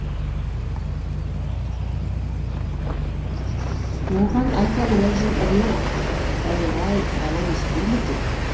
оған айтар уәжі біреу ақ тәйірай бала өспей ме екен